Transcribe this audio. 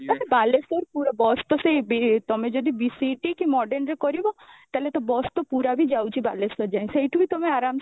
ଏ ତ ବାଲେଶ୍ଵର ପୁରା bus ତ ସେଇ ତମେ ଯଦି BCET କି modern ରେ କରିବ ତାହେଲେ ତ bus ତ ପୁରା ବି ଯାଉଛି ବାଲେଶ୍ଵର ଯାଏଁ ସେଉଠୁ ବି ତମେ ଆରମସେ